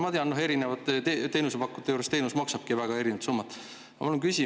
Ma tean, et eri teenusepakkujate juures maksavadki teenused väga erinevat.